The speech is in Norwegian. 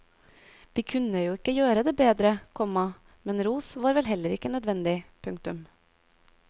Vi kunne jo ikke gjøre det bedre, komma men ros var vel heller ikke nødvendig. punktum